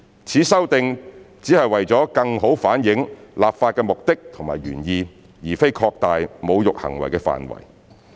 此修訂只是為了更好反映立法目的和原意，而非擴大侮辱行為的範圍。